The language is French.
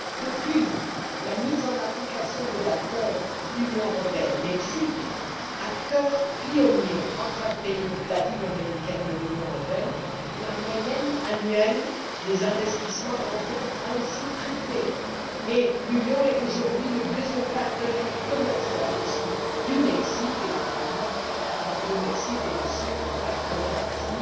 Depuis la mise en œuvre de l'accord Union européenne Mexique, accord pionnier entre un pays latino américain et l'Union européenne, la moyenne annuelle des investissements européens a triplé et l'Union est aujourd'hui le deuxième partenaire commercial du Mexique. Naturellement, le Mexique est également un partenaire qui